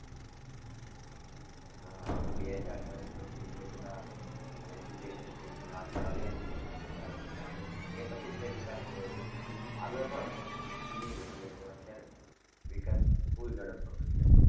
હા આ બે હાજર દસ પછી જે બધા education field આગળ આવ્યા છે. વધારે પડતા અને એ પછી જે વિકાસ થયો છે. આગળ પણ હતો પણ ધીમી ગતિએ હતો અત્યારે વિકાસ full જડપ પકડી રહ્યો છે.